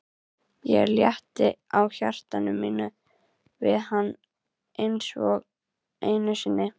Ég létti á hjarta mínu við hann einsog einu sinni.